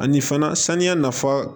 Ani fana saniya nafa